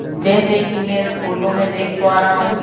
जैसे कि मैं इस फोटो में देख पा रहा हूं।